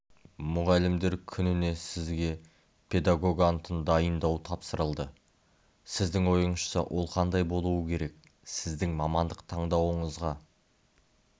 мұғалімдер күніне сізге педагог антын дайындау тапсырылды сіздің ойыңызша ол қандай болуы керек сіздің мамандық таңдауыңызға